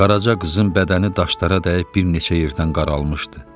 Qaraca qızın bədəni daşlara dəyib bir neçə yerdən qaralmışdı.